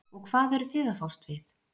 og hvað eruð þið að fást við?